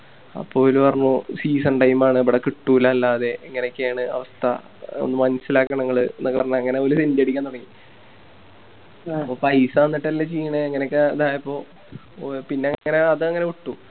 അപ്പൊ ഓല് പറഞ്ഞു Season time ആണ് ഇബിടെ കിട്ടൂല അല്ലാതെ ഇങ്ങനൊക്കെയാണ് അവസ്ഥ അത് മനസ്സിലാക്കണം ഇങ്ങള് ന്നൊക്കെ പറഞ്ഞ് അങ്ങനെ ഇവല് Senti അടിക്കാൻ തൊടങ്ങി അപ്പൊ പൈസ തന്നിട്ടല്ലെ ചെയ്യണേ അങ്ങനൊക്കെ ഇതായപ്പോ ഓ പിന്നെ അതങ്ങനെ വിട്ടു